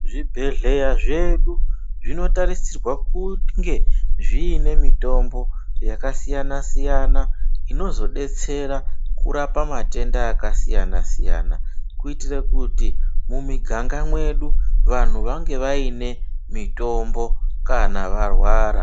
Zvibhedhlera zvedu zvinotarisirwa kunge zviine mitombo yakasiyana-siyana inozodetsera kurapa matenda akasiyana-siyana kuitire kuti mumiganga mwedu vanhu vange vaine mitombo kana varwara.